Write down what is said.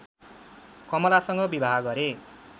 कमलासँग विवाह गरे